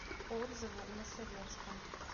отзывы на советском